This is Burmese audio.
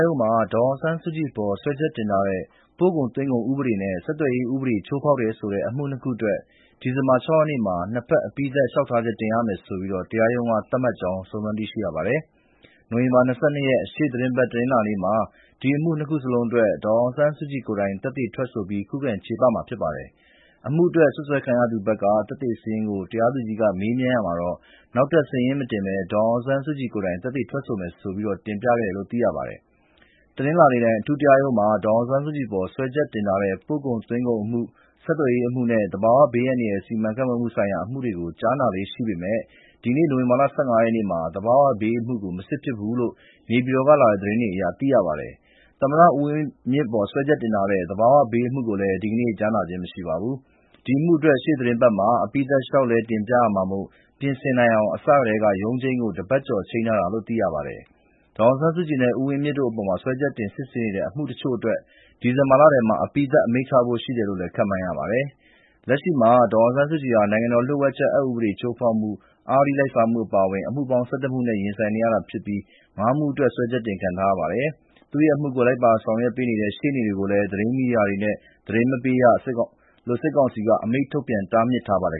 ရုံးမှာ ဒေါ်အောင်ဆန်းစုကြည်အပေါ် စွဲချက်တင်ထားတဲ့ ပို့ကုန်သွင်းကုန်ဥပဒေနဲ့ ဆက်သွယ်ရေးဥပဒေတွေ ချိုးဖောက်တယ်ဆိုတဲ့အမှု ၂ ခုအတွက် ဒီဇင်ဘာ ၆ ရက်နေ့မှာ ၂ ဘက် အပြီးသတ်လျှောက်ထားချက်တင်ရမယ်လို့ တရားရုံးက သတ်မှတ်လိုက်တယ်လို့ စုံစမ်းသိရပါတယ်။ ရှေ့သီတင်းပတ် တနင်္လာနေ့၊ နိုဝင်ဘာ ၂၂ ရက်ကျရင်တော့ အဲဒီအမှု ၂ ခုလုံးအတွက် ဒေါ်အောင် ဆန်းစုကြည်ကိုယ်တိုင် သက်သေထွက်ဆို ခုခံချေပမှာဖြစ်ပါတယ်။ အမှုအတွက် စွပ်စွဲခံရသူဘက်က သက်သေစာရင်းကို တရားသူကြီးက မေးမြန်းရာမှာ နောက်ထပ်စာရင်းမတင်ဘဲ ဒေါ်အောင်ဆန်းစုကြည် ကိုယ်တိုင်သက်သေထွက် ဆိုမယ်လို့ တင်ပြခဲ့ကြောင်းသိရပါတယ်။ တနင်္လာနေ့တိုင်း အထူးတရားရုံးမှာ ဒေါ်အောင်ဆန်းစုကြည်အပေါ် စွဲချက်တင် ထားတဲ့ ပို့ကုန်သွင်းကုန်အမှု၊ ဆက်သွယ်ရေးအမှုနဲ့ သဘာဝဘေးအန္တရာယ် စီမံခန့်ခွဲမှုဆိုင်ရာ အမှုတွေကိုကြားနာလေ့ရှိပေမဲ့ ဒီနေ့ နိုဝင်ဘာ ၁၅ ရက်မှာ သဘာဝဘေးအမှု မစစ်ဖြစ်ဘူးလို့ နေပြည်တော်ကလာတဲ့သတင်းတွေအရ သိရပါတယ်။ သမ္မတဦးဝင်မြင့်အပေါ် စွဲချက်တင်ထားတဲ့ သဘာဝဘေးအမှုကိုလည်း ဒီနေ့ ကြားနာခြင်းမရှိပါဘူး။ ဒီအမှုအတွက် ရှေ့သီတင်းပတ်မှာ အပြီးသတ်လျှောက်လဲ တင်ပြရမှာမို့ ပြင်ဆင်နိုင်အောင် အစကတည်းက ရုံးချိန်းကို တပတ်ကျော် ချိန်းထားတာလို့ သိရပါတယ်။ ဒေါ်အောင်ဆန်းစုကြည်နဲ့ ဦးဝင်းမြင့်တို့အပေါ် စဲွဲချက်တင် စစ်ဆေးနေတဲ့ အမှုတချို့အတွက် ဒီဇင်ဘာလထဲမှာ အပြီးသတ် အမိန့်ချဖို့ရှိတယ်လို့ ခန့်မှန်းရပါတယ်။ လက်ရှိမှာ ဒေါ်အောင်ဆန်းစုကြည်ဟာ နိုင်ငံတော်လျှို့ဝှက်ချက်ဥပဒေချိုးဖောက်မှု၊ အဂတိလိုက်စားမှုတို့အပါအဝင် အမှုပေါင်း ၁၁ မှုနဲ့ ရင်ဆိုင်နေရပြီး ၅ မှုအတွက် စွဲချက်တင်ခံထားရပါတယ်။ သူ့ရဲ့အမှုကို လိုက်ပါဆောင်ရွက်ပေးနေတဲ့ ရှေ့နေတွေကိုလည်း သတင်းမီဒီယာတွေကို သတင်းမပေးရလို့ စစ်ကောင်စီက အမိန့်ထုတ်ပြန် တားမြစ်ထားပါတယ်